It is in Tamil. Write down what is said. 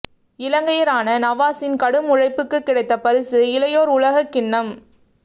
இலங்கையரான நவாஸின் கடும் உழைப்புக்கு கிடைத்த பரிசு இளையோர் உலகக் கிண்ணம்